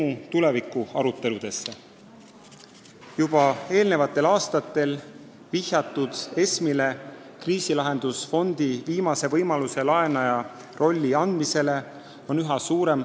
Üha rohkem on hakatud toetama juba eelmistel aastatel jutuks olnud lahendust, et ESM-ile antakse kriisilahendusfondist viimasel võimalusel laenaja roll.